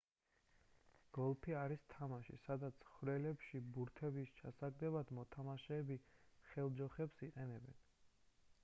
გოლფი არის თამაში სადაც ხვრელებში ბურთების ჩასაგდებად მოთამაშეები ხელჯოხებს იყენებენ